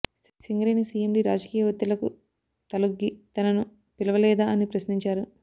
Singareni CMD రాజకీయ ఒత్తిళ్లకు తలొగ్గి తనను పిలవలేదా అని ప్రశ్నించారు